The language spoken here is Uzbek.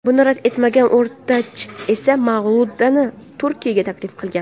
Buni rad etmagan O‘rtach esa Mavludani Turkiyaga taklif qilgan.